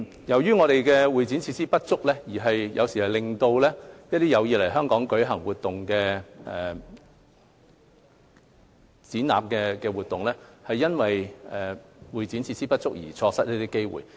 由於本港的會展設施不足，有時候令到一些有意在港舉行的展覽活動，因為會展設施不足而錯失機會。